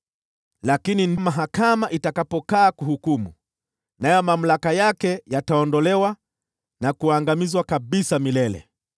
“ ‘Lakini mahakama itakaa kuhukumu, nayo mamlaka yake yataondolewa na kuangamizwa kabisa milele.